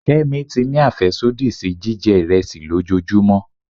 Kemi ti ní afẹsodi sí jijẹ iresi lòjóojúmò